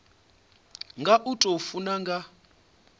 nga u tou funa nga